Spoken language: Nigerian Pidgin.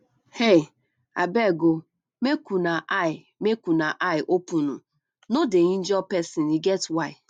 um abeg um make una eye make una eye open um no dey injure person e get why